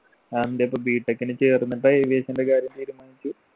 അതെന്തെ ഇപ്പോ b. tech ന് ചേർന്നിട്ടാ aviation ന്റെ കാര്യം തീരുമാനിച്ചു